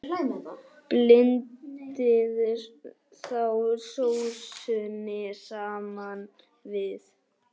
Blandið þá sósunni saman við.